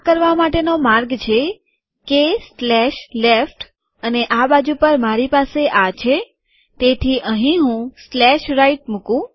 આ કરવા માટેનો માર્ગ છે કે સ્લેશ લેફ્ટ અને આ બાજુ પર મારી પાસે આ છે તેથી અહીં હું સ્લેશ રાઈટ મુકું